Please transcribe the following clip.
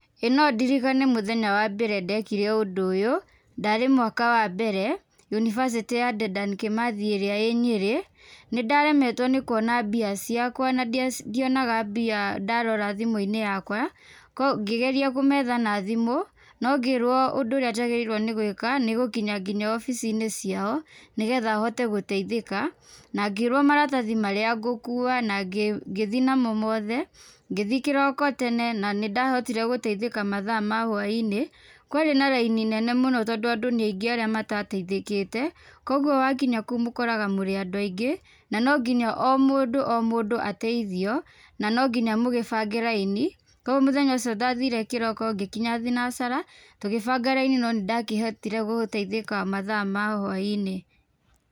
Ĩĩ nondirikane mũthenya wa mbere ndekire ũndũ ũyũ. Ndarĩ mwaka wa mbere, unibacĩtĩ ya Dedan Kĩmathi ĩrĩa ĩ Nyĩrĩ, nĩndaremetwo nĩ kuona mbia ciakwa na ndionaga mbia ndarora thimũ-inĩ yakwa, ngĩgeria kũmetha na thimũ, no ngĩrwo undũ urĩa njagĩrĩirwo nĩ gwĩka nĩ gũkinya nginya ofici-inĩ ciao, nĩgetha hote gũteithĩka, na ngĩrwo maratathi marĩa ngũkua na ngĩthii namo mothe, ngithii kĩroko tene na nindahotire guteithĩka mathaa ma hwainĩ, kwarĩ na raini nene mũno tondũ andũ ni aingĩ arĩa matateithĩkĩte, koguo wakinya kũu, mũkoraga mũrĩ andũ aingĩ na no nginya o mũndũ o mũndũ ateithio na no nginya mũgĩbange raini, koguo mũthenya ũcio ndathire kĩroko ngĩkinya thinacara, tũgĩbanga raini no nĩndakĩhotire guteithĩka mathaa ma hwaĩ-inĩ.